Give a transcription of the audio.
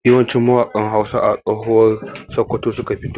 Yawanci mawaƙa Hausa a tsohuwar Sokoto suka fito.